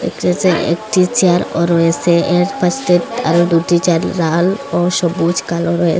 একটি চের একটি চেয়ার -ও রয়েসে এর পাশে আরও দুটি চের লাল ও সবুজ কালো রয়েস।